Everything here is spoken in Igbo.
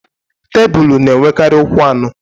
Tebulu na-enwekarị ụkwụ anọ.